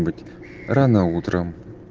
рано утром